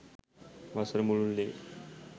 වසර මුළුල්‍ලේ